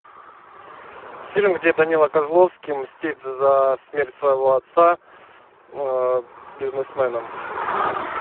фильм где данила козловский мстит за смерть своего отца бизнесменам